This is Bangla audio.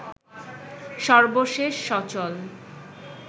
সর্বশেষ সচল